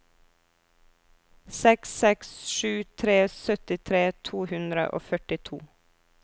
seks seks sju tre syttitre to hundre og førtito